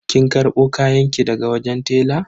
Kin karbo kayanki daga wajen tela?